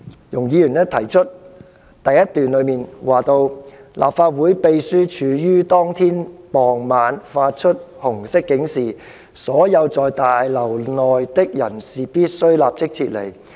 容議員在第一點指出，"立法會秘書處於當天傍晚發出紅色警示，所有在大樓內的人士必須立即撤離。